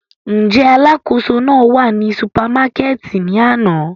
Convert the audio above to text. Njẹ alakoso nàa wa ni supamakẹti ni ana?